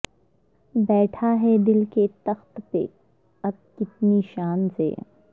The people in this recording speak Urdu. بیٹھا ہے دل کے تخت پہ اب کتنی شان سے